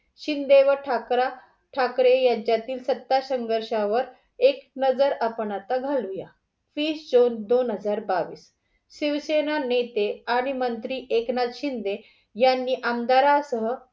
शिंदे व ठाकरा ठाकरे यांच्यातील सत्ता संघर्षावर एक नजर आता आपण घालूया. वीस जून दोन हजार बावीस. शिवसेना नेते आणि मंत्री एकनाथ शिंदे यांनी आमदारा सह